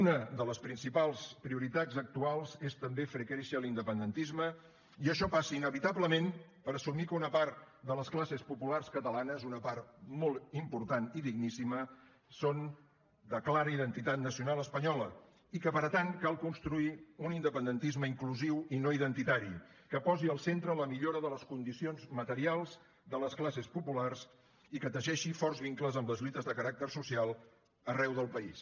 una de les principals prioritats actuals és també fer créixer l’independentisme i això passa inevitablement per assumir que una part de les classes populars catalanes una part molt important i digníssima són de clara identitat nacional espanyola i que per tant cal construir un independentisme inclusiu i no identitari que posi al centre la millora de les condicions materials de les classes populars i que teixeixi forts vincles amb les lluites de caràcter social arreu del país